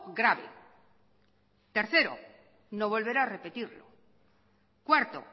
grave tercero no volverá a repetir cuarto